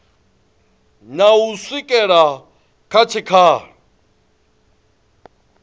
na u swikela kha tshikhala